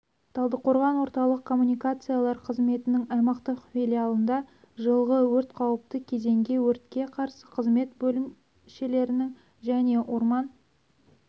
талдықорғанда орталық коммуникациялар қызметінің аймақтық филиалында жылғы өрт қауіпті кезеңге өртке қарсы қызмет бөлімшелерінің және орман